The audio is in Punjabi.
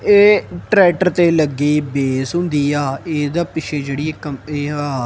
ਏਹ ਟ੍ਰੈਕਟਰ ਤੇ ਲੱਗੀ ਬੇਸ ਹੁੰਦੀ ਆ ਏਸਦੇ ਪਿੱਛੇ ਜੇਹੜੀ ਇੱਕ ਕੰਪਨੀ ਆ।